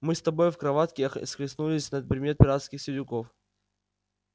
мы с тобой в кроватке ах схлестнулись на предмет пиратских сидюков